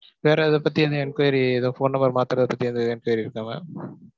வேற எத பத்தியும் ஏதும் enquiry, ஏதும் phone number மாத்துறது பத்தி enquiry இருக்கா mam?